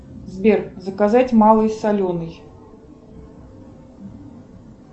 сбер заказать малый соленый